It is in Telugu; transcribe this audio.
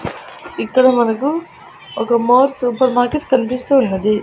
ఇక్కడ మనకు ఒక మోర్ సూపర్ మార్కెట్ కనిపిస్తూ ఉన్నది.